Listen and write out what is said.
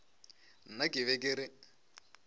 nna ke be ke re